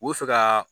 U bɛ fɛ ka